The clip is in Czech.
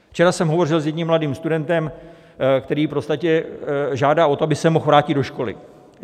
Včera jsem hovořil s jedním mladým studentem, který v podstatě žádá o to, aby se mohl vrátit do školy.